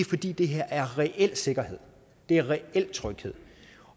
fordi det her er reel sikkerhed det er reel tryghed